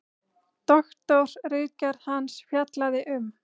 Doktorsritgerð hans fjallaði um